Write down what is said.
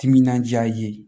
Timinandiya ye